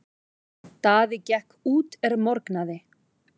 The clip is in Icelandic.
Daði gekk út er morgnaði.